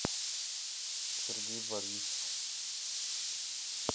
сергей борисов